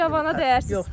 Necə cavana deyərsiz?